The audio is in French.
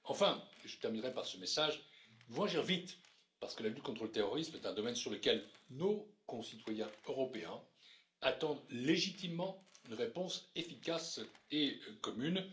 Enfin, et je terminerai par ce message, nous devons agir vite parce que la lutte contre le terrorisme est un domaine sur lequel nos concitoyens européens attendent légitimement une réponse efficace et commune.